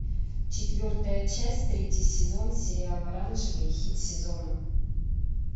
четвертая часть третий сезон сериал оранжевый хит сезона